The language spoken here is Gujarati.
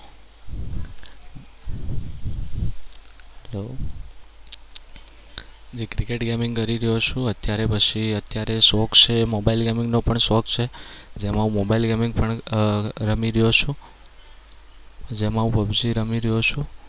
જે cricket gaming કરી રહ્યો છું. જે અત્યારે પછી અત્યારે શોખ છે એ mobile gaming નો પણ શોખ છે. જેમાં હું mobile gaming પણ રમી રહ્યો છું. જેમાં હું PUBG રમી રહ્યો છું.